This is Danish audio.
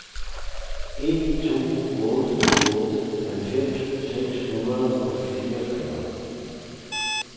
en to otte otte halvfems seks hundrede og fireogfyrre